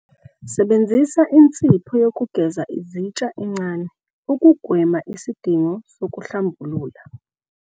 Sebenzisa insipho yokugeza izitsha encane, ukugwema isidingo sokuhlambulula